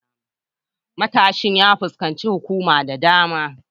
Matashin ya fuskanci tuhuma da dama.